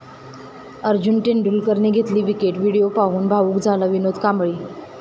अर्जुन तेंडुलकरने घेतली wicket, video पाहून भावूक झाला विनोद कांबळी